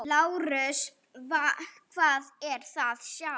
LÁRUS: Hvað er að sjá?